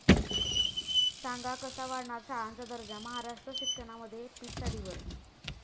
सांगा कसा वाढणार शाळांचा दर्जा? महाराष्ट्र शिक्षणामध्ये पिछाडीवर